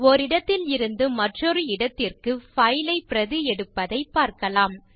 ஓரிடத்தில் இருந்து மற்றொரு இடத்திற்கு பைல் ஐ பிரதி எடுப்பதைப் பார்க்கலாம்